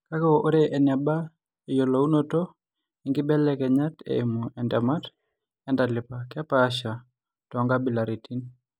Kake, ore eneba eyiolounoto oonkibelekenyat eimu entemata oontalip kepaasha toonkabilaitin.